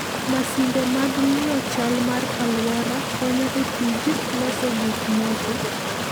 Masinde mag ng'iyo chal mar alwora konyo e tij loso gik moko.